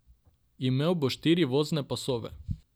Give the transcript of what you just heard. Imel bo štiri vozne pasove.